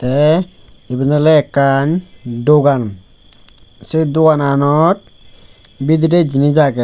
te iben ole ekkan dogan se dogananot bidire jinich agey.